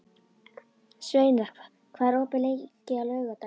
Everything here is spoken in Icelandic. Sveinar, hvað er opið lengi á laugardaginn?